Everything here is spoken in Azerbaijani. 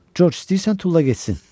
Corc, istəyirsən tulla getsin.